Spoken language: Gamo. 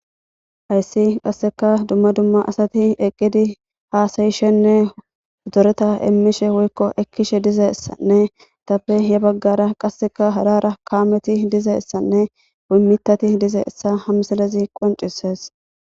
Haysi qaseka dumma dumma asati hasayishenne zoretishe heni bagara qaseka hara hara kameti dizaysanne mithati dizaysa ha misiles qoncises